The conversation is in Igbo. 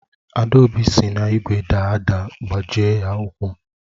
Adaobi si n’igwe daa ada gbajie ya ụkwụ